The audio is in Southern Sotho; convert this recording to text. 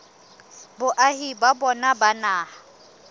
boahi ba bona ba naha